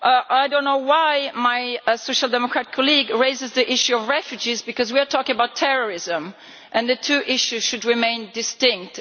I do not know why my Social Democrat colleague raises the issue of refugees, because we are talking about terrorism, and the two issues should remain distinct.